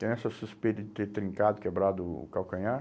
Tenho essa suspeita de ter trincado, quebrado o o calcanhar.